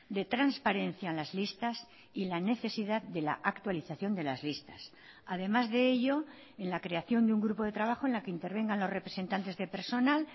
de transparencia en las listas y la necesidad de la actualización de las listas además de ello en la creación de un grupo de trabajo en la que intervengan los representantes de personal